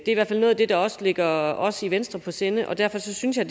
i hvert fald noget af det der også ligger os i venstre på sinde og derfor synes jeg